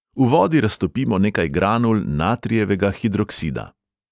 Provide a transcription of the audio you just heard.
V vodi raztopimo nekaj granul natrijevega hidroksida.